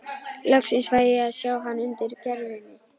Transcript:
Loksins fæ ég að sjá hann undir gervinu.